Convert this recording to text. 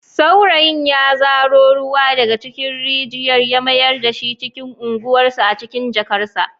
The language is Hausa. Saurayin ya zaro ruwa daga cikin rijiyar ya mayar da shi cikin unguwarsu a cikin jarkarsa.